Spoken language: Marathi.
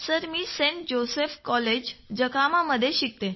सर मी सेंट जोसेफ कॉलेज जकहामा स्वायत्त मध्ये शिकतो